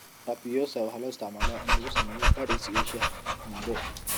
Apioca waxaa loo isticmaalaa in lagu sameeyo puddings iyo shaaha xumbo.